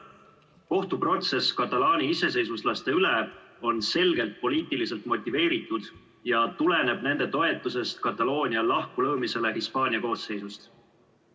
Kohtuprotsess katalaani iseseisvuslaste üle on selgelt poliitiliselt motiveeritud ja tuleneb nende toetusest Kataloonia lahkulöömisele Hispaania koosseisust.